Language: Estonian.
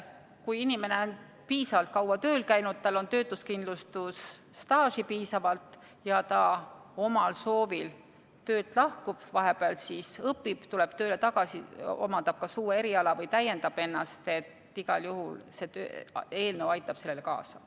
Kui inimene on piisavalt kaua tööl käinud, tal on töötuskindlustusstaaži piisavalt ja ta omal soovil töölt lahkub, vahepeal õpib, tuleb tööle tagasi, omandab kas uue eriala või täiendab ennast – igal juhul see eelnõu aitab sellele kaasa.